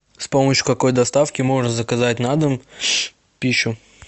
с помощью какой доставки можно заказать на дом пищу